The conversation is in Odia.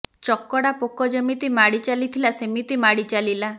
ଚକଡ଼ା ପୋକ ଯେମିତି ମାଡି ଚାଲିଥିଲା ସେମିତି ମାଡ଼ି ଚାଲିଲା